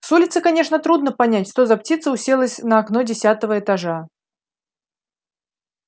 с улицы конечно трудно понять что за птица уселась на окно десятого этажа